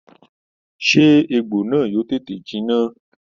Sé egbò náà yóò tètè jinná?